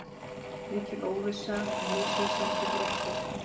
Mikil óvissa og misvísandi fréttir